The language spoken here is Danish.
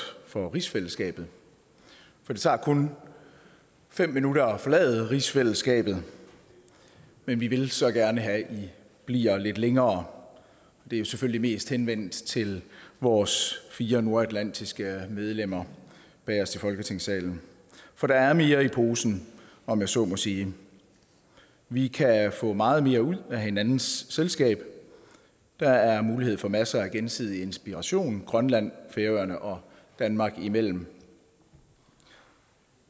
for rigsfællesskabet for det tager kun fem minutter at forlade rigsfællesskabet men vi vil så gerne have i bliver lidt længere det er selvfølgelig mest henvendt til vores fire nordatlantiske medlemmer i folketingssalen for der er mere i posen om jeg så må sige vi kan få meget mere ud af hinandens selskab der er mulighed for masser af gensidig inspiration grønland færøerne og danmark imellem